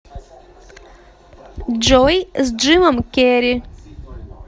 джой с джимом керри